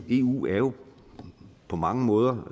eu jo på mange måder